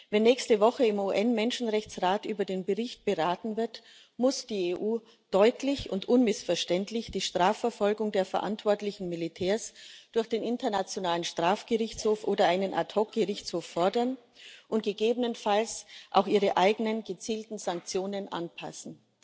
Wenn nächste Woche im UN Menschenrechtsrat über den Bericht beraten wird, muss die EU deutlich und unmissverständlich die Strafverfolgung der verantwortlichen Militärs durch den Internationalen Strafgerichtshof oder einen Ad hoc Gerichtshof fordern und gegebenenfalls auch ihre eigenen gezielten Sanktionen anpassen.